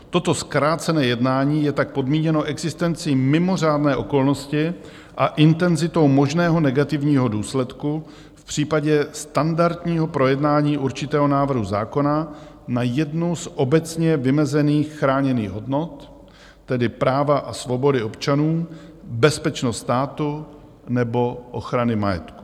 Toto zkrácené jednání je tak podmíněno existencí mimořádné okolnosti a intenzitou možného negativního důsledku v případě standardního projednání určitého návrhu zákona na jednu z obecně vymezených chráněných hodnot, tedy práva a svobody občanů, bezpečnost státu nebo ochrany majetku.